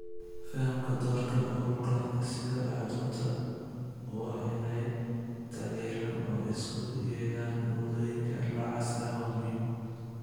Fahamka doorka ururada sida xudunta u ah inay taageeraan oo isugu yeedhaan moodooyinka noocaas ah waa muhiim.